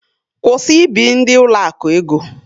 Kwụsị ị bi ndị ụlọakụ ego!